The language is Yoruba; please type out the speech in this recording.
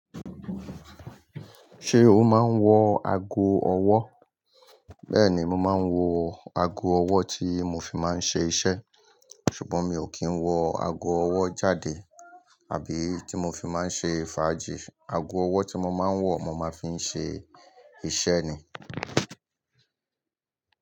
Ṣé o máa ń wọ ago ọwọ́? Bẹ́ẹ̀ ni, mo máa ń wọ ago ọwọ́ tí mo fi máa ń ṣe iṣẹ́. Ṣùgbọ́n mi ò kí ń wọ ago ọwọ́ jáde àbí tí mo fi máa ń ṣe fàájì. Ago ọwọ́ tí mo máa ń wọ̀ mo máa ń fi ṣe iṣẹ́ ni.